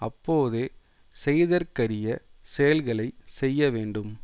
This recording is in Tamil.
அப்போதே செய்தற்கரியச் செயல்களை செய்ய வேண்டும்